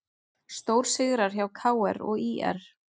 Stórsigrar hjá KR og ÍR